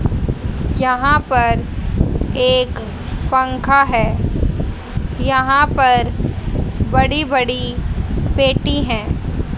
यहां पर एक पंखा है यहां पर बड़ी बड़ी पेटी हैं।